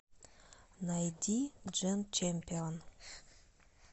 найди джен чемпион